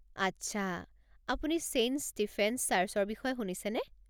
আচ্ছা, আপুনি saint Stephen's চাৰ্চৰ বিষয়ে শুনিছেনে?